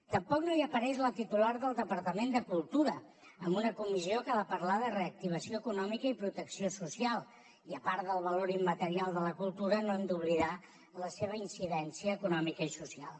tampoc no hi apareix la titular del departament de cultura amb una comissió que ha de parlar de reactivació econòmica i protecció social i a part del valor immaterial de la cultura no hem d’oblidar la seva incidència econòmica i social